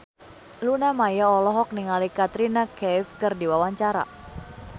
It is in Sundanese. Luna Maya olohok ningali Katrina Kaif keur diwawancara